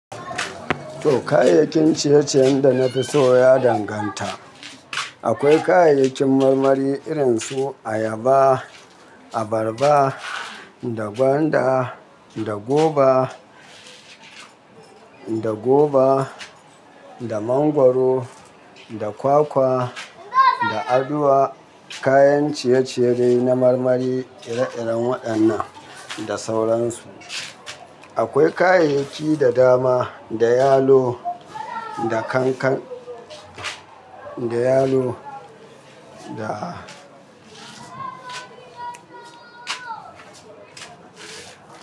To, kayayyakin ciye-ciyen da na fi so ya danganta. Akwai kayayyakin marmari irin su ayaba, abarba, da gwanda, da goba, da goba, da mangwaro, da kwakwa, da aduwa. Kayan ciye-ciye dai na marmari iri-irin waɗannan da sauransu. Akwai kayayyaki da dama, da yalo, da kank-kank, da yalo, da.